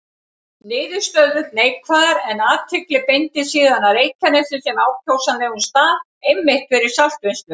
Niðurstöður neikvæðar, en athygli beindist síðan að Reykjanesi sem ákjósanlegum stað einmitt fyrir saltvinnslu.